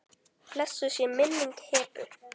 Blessuð sé minning Hebu.